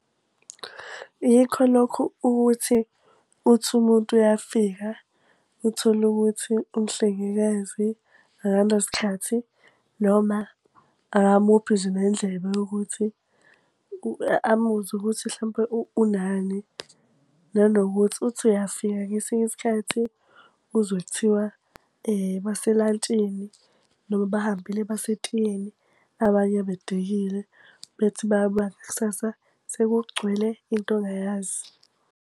Yikho lokhu ukuthi uthi umuntu uyafika, uthole ukuthi umhlengikazi akanasikhathi noma akamuphi nje nendlebe yokuthi amuzwe ukuthi mhlawumpe unani. Nanokuthi uthi uyafika ngesinye isikhathi uzwe kuthiwa baselantshini noma bahambile basetiyeni. Abanye bedikile bethi bayabuya ngakusasa sekugcwele into ongayazi.